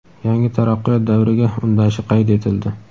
yangi taraqqiyot davriga undashi qayd etildi.